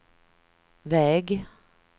väg